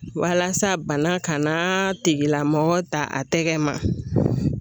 Walasa bana kana tigila mɔgɔ ta a tɛgɛ ma